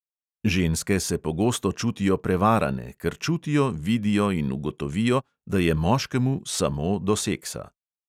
Ženske se pogosto čutijo prevarane, ker čutijo, vidijo in ugotovijo, da je moškemu "samo" do seksa.